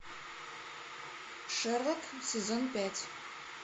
шерлок сезон пять